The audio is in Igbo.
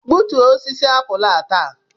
Gbutuo osisi apụl a taa!